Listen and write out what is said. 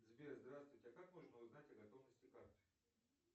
сбер здравствуйте как можно узнать о готовности карты